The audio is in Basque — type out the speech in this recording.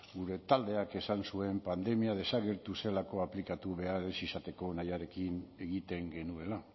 gure taldeak esan zuen pandemia desagertu zelako aplikatu behar ez izateko nahiarekin egiten genuela